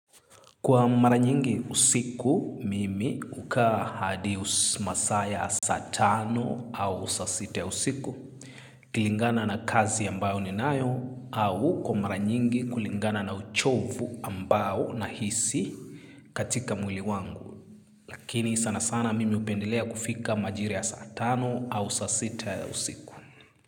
Kwa mara nyingi usiku, mimi hukaa hadi masaa ya saa tano au saa sita yausiku. Kilingana na kazi ambayo ninayo au kwa mara nyingi kulingana na uchovu ambao nahisi katika mwili wangu. Kini sana sana mimi hupendelea kufika majira ya saa tano au saa sita ya usiku.